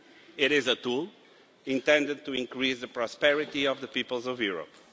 It is a tool, intended to increase the prosperity of the peoples of Europe.